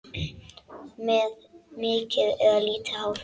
Með mikið eða lítið hár?